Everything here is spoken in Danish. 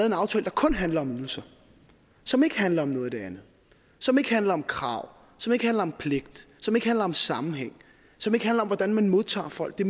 en aftale der kun handler om ydelser som ikke handler om noget af det andet som ikke handler om krav som ikke handler om pligt som ikke handler om sammenhæng og som ikke handler om hvordan man modtager folk det